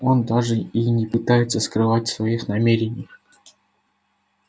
он даже и не пытается скрывать своих намерений